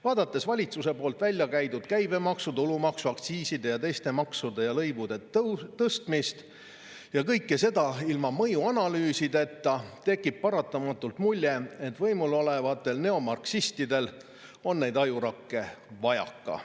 Vaadates valitsuse välja käidud käibemaksu, tulumaksu, aktsiiside ja teiste maksude ja lõivude tõstmist, kõike seda ilma mõjuanalüüsideta, tekib paratamatult mulje, et võimul olevatel neomarksistidel on neid ajurakke vajaka.